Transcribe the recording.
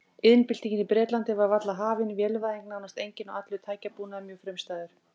Iðnbyltingin í Bretlandi var varla hafin, vélvæðing nánast engin og allur tækjabúnaður mjög frumstæður.